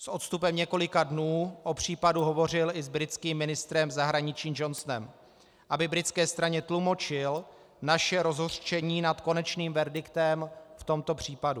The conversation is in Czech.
S odstupem několika dnů o případu hovořil i s britským ministrem zahraničí Johnsonem, aby britské straně tlumočil naše rozhořčení nad konečným verdiktem v tomto případu.